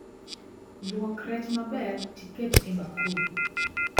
Luok rech maber tiket e bakul